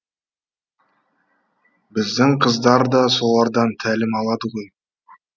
біздің қыздар да солардан тәлім алады ғой